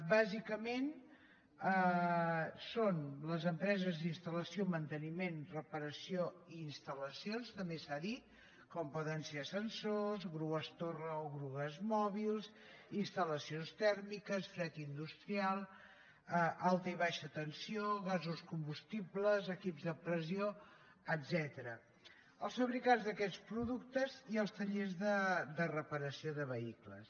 bàsicament són les empreses d’installació manteniment reparació instal·lacions també s’ha dit com poden ser ascensors grues torre o grues mòbils instal·lacions tèrmiques fred industrial alta i baixa tensió gasos combustibles equips de pressió etcètera els fabricants d’aquest productes i els tallers de reparació de vehicles